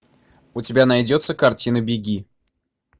у тебя найдется картина беги